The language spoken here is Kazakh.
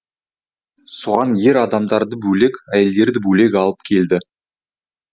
соған ер адамдарды бөлек әйелдерді бөлек алып келді